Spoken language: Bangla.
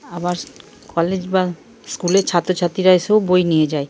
আবার কলেজ বা স্কুলের ছাত্রছাত্রীরা এসেও বই নিয়ে যায় ।